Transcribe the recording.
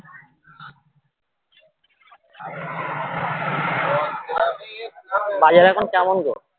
বাজার এখন কেমন গো